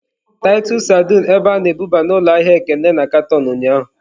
Titus sardines ebe a na-ebuba n'ụlọ ahịa Ekene na katọn ụnyahụ.